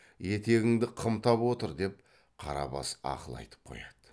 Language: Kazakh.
етегіңді қымтап отыр деп қарабас ақыл айтып қояды